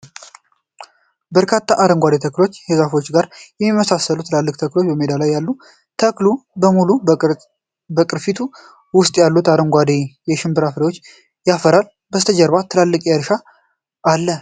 በርካታ አረንጓዴ ተክሎችና ከዛፎች ጋር የሚመሳሰሉ ትላልቅ ተክሎች በሜዳ ላይ አሉ። ተክሉ በሙሉ በቅርፊቱ ውስጥ ያሉትን አረንጓዴ የሽምብራ ፍሬዎችን ያፈራል። ከበስተጀርባ ትልቅ እርሻ አለ።